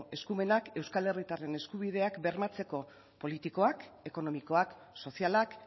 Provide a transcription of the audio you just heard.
eskumenak euskal herritarren eskubideak bermatzeko politikoak ekonomikoak sozialak